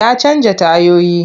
Ya canja tayoyi.